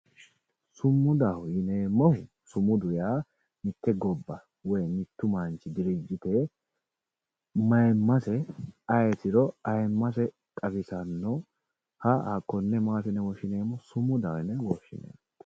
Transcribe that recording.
Sumudaho yineemmohu, sumudu yaa mite gobba woyi mite dirijite mayimase ayitiro ayimase xawisanoha hakkone maati yinne woshshineemmo, sumudaho yinne woshshineemmo.